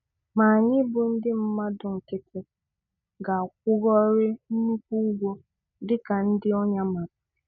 Ma anyị bụ ndị mmadụ nkịtị, ga-akwụgoorii nnukwu ụgwọ dịka ndị ọnya mara.